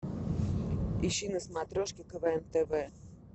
ищи на смотрешке квн тв